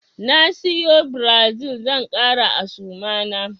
Na siyo Brazil zan ƙara a suma na.